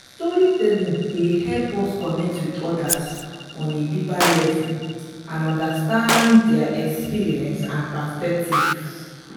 storytelling dey help us connect with odas on a deeper level and understand dia experiences and perspectives.